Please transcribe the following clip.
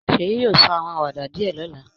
Seyi yóò sọ àwọn àwàdà díẹ̀ lọ́la